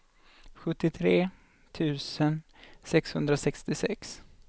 sjuttiotre tusen sexhundrasextiosex